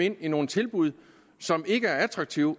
ind i nogle tilbud som ikke er attraktive